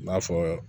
N'a fɔ